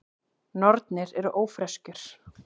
Nornir eru ófreskjur.